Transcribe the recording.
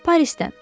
Parisdən.